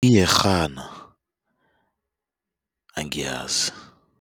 Iyerhana angiyazi.